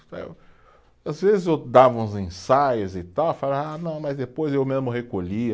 Às vezes eu dava uns ensaios e tal, falava ah não, mas depois eu mesmo recolhia